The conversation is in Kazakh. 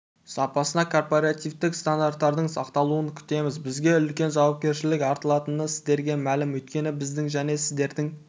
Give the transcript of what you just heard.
сапасына корпоративтік стандарттардың сақталуын күтеміз бізге үлкен жауапкершілік артылатыны сіздерге мәлім өйткені біздің және сіздердің